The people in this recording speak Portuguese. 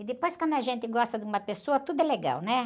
E depois quando a gente gosta de uma pessoa, tudo é legal, né?